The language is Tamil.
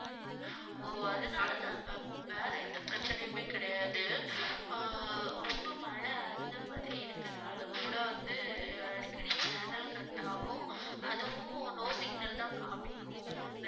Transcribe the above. ஓ அதுனால தான் ma'am வேற எந்த பிரச்சனையுமே கிடையாது ஆஹ் ரொம்ப மழை அந்த மாதிரி இருக்கறதுனால கூட வந்து அடிக்கடி channel cut ஆகும் அதுவும் no signal தான் காமிக்கும்